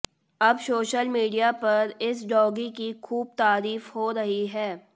अब social media पर इस डॉगी की खूब तारीफ हो रही है